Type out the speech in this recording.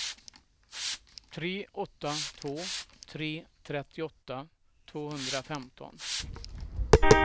tre åtta två tre trettioåtta tvåhundrafemton